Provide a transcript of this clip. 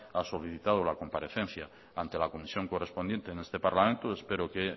ha solicitado la comparecencia ante la comisión correspondiente en este parlamento espero que